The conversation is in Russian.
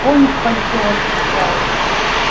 конь в пальто отвечаю